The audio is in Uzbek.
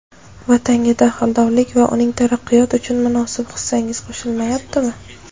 Vatanga daxldorlik va uning taraqqiyoti uchun munosib hissangiz qoʼshilyaptimi.